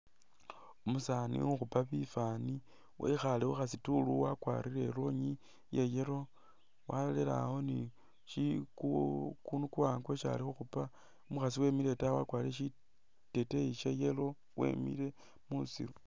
Umusaani ukhupa bifani wekhale khukhasitulu wakwalire i'lonyi iya yellow walere awo ni shiku kukundu kuwaanga kwesi ali khukhupa umukhaasi wemile itaayi wakwlire shiteteyi sha yellow wemile musiru